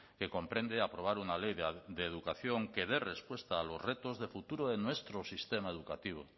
que comprende aprobar una ley de educación que dé respuesta a los retos de futuro de nuestro sistema educativo